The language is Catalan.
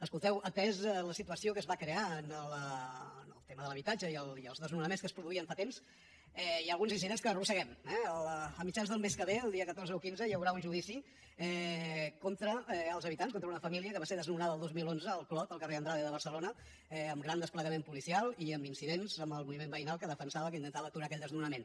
escolteu atesa la situació que es va crear amb el tema de l’habitatge i els desnonaments que es produïen fa temps hi ha alguns incidents que arrosseguem eh a mitjans del mes que ve el dia catorze o quinze hi haurà un judici contra els habitants contra una família que va ser desnonada el dos mil onze al clot al carrer andrade de barcelona amb gran desplegament policial i amb incidents amb el moviment veïnal que defensava que intentava aturar aquell desnonament